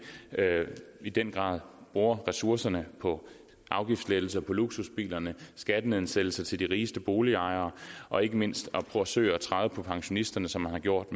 i den grad bruger ressourcerne på afgiftslettelser på luksusbilerne skattenedsættelser til de rigeste boligejere og ikke mindst forsøger at træde på pensionisterne som man har gjort